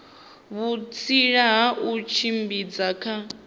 vhutsila ha u tshimbidza kha